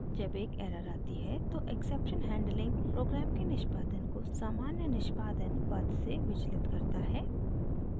जब एक एरर आती है तो एक्सेक्पशन हैंडलिंग प्रोग्राम के निष्पादन को सामान्य निष्पादन पथ से विचलित करता है